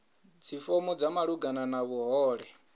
dzifomo dza malugana na vhuhole